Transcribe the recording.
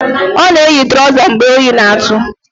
Ọ na-eyi trọza mgbe oyi na-atụ